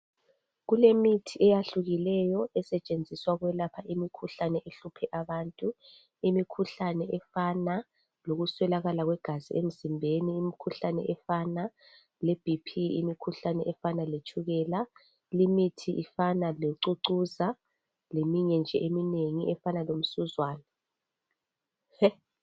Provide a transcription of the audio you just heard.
Kulemithi eyahlukileyo esetshenziswa ukwelapha imikhuhlane ehluphe abantu. Imikhuhlane efana lokuswelakala kwegazi emzimbeni , imikhuhlane efana le Bp , imikhuhlane efana letshukela. Limithi ifana locucuza leminye nje eminengi efana lomsuzwane.